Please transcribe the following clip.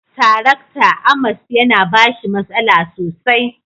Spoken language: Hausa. Tarakta. " Amos" ya na bashi masala sosai